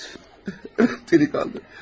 Evet, delikanlı.